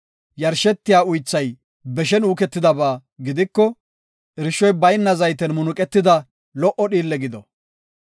Yarshetiya uythay beshen uuketidaba gidiko, irshoy bayna zayten munuqetida lo77o dhiille gido.